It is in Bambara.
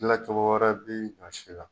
Gila cɔgo wɛrɛ bi a si la